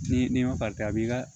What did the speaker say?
Ni ni ma farilen a b'i ka